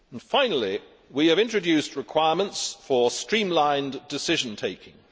Finally, we have introduced requirements for streamlined decision taking.